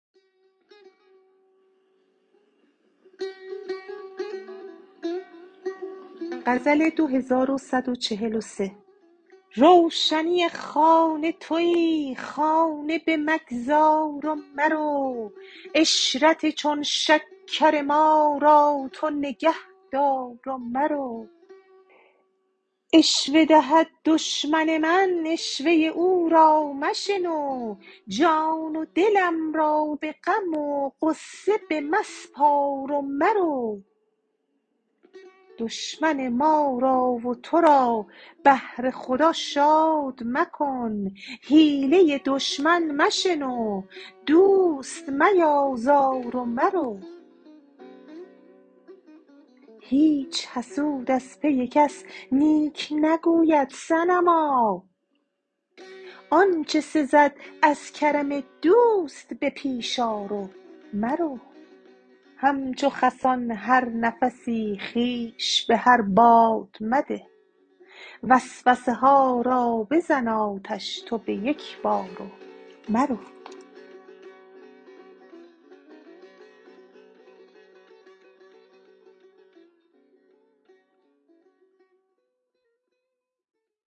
روشنی خانه تویی خانه بمگذار و مرو عشرت چون شکر ما را تو نگهدار و مرو عشوه دهد دشمن من عشوه او را مشنو جان و دلم را به غم و غصه بمسپار و مرو دشمن ما را و تو را بهر خدا شاد مکن حیله دشمن مشنو دوست میازار و مرو هیچ حسود از پی کس نیک نگوید صنما آنج سزد از کرم دوست به پیش آر و مرو همچو خسان هر نفسی خویش به هر باد مده وسوسه ها را بزن آتش تو به یک بار و مرو